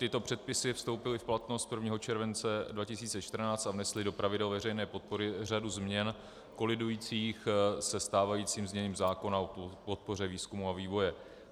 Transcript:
Tyto předpisy vstoupily v platnost 1. července 2014 a vnesly do pravidel veřejné podpory řadu změn kolidujících se stávajícím zněním zákona o podpoře výzkumu a vývoje.